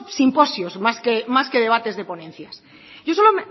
simposios más que debates de ponencias yo solo